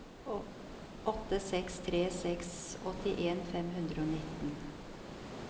åtte seks tre seks åttien fem hundre og nitten